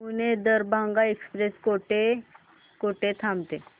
Pune Darbhanga express कुठे कुठे थांबते